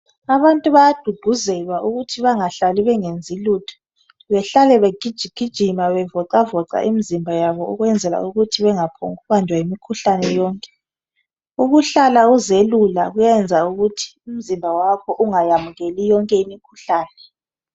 Abantu bayagqugquzelwa ukuthi bengahlali bengenzi lutho behlale begiji gijima bezivocavoca imizimba yabo ukwenzela ukuthi bengaphonku banjwa yimikhuhlane yonke ukuhlala uzelula kuyayenza ukuthi umzimba wakho ungayamukeli yonke imikhuhlane